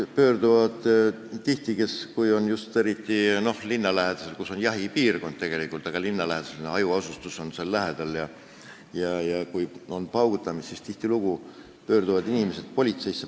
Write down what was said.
Eriti siis, kui jahipiirkond on linna lähedal, kus on hajaasustus, ja kui seal on paugutamist, siis tihtilugu pöörduvad inimesed politseisse.